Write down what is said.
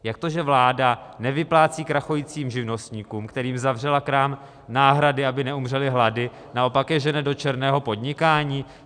Jak to, že vláda nevyplácí krachujícím živnostníkům, kterým zavřela krám, náhrady, aby neumřeli hlady, a naopak je žene do černého podnikání?